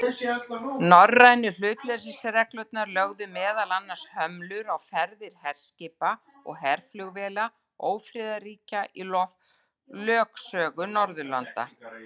Norrænu hlutleysisreglurnar lögðu meðal annars hömlur á ferðir herskipa og herflugvéla ófriðarríkja í lögsögu Norðurlanda.